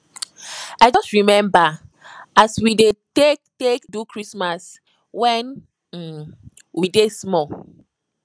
i just rememba as we dey take take do christmas wen um we dey small